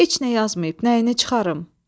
Heç nə yazmayıb, nəyini çıxarım?